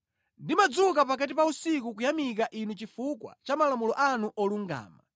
Ndimadzuka pakati pa usiku kuyamika Inu chifukwa cha malamulo anu olungama.